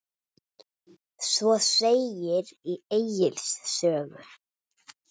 Svo segir í Egils sögu